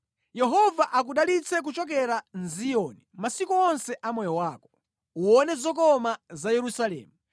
Yehova akudalitse kuchokera mʼZiyoni masiku onse a moyo wako; uwone zokoma za Yerusalemu,